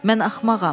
Mən axmağam.